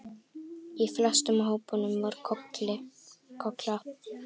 Í flestum hópunum var Kolla.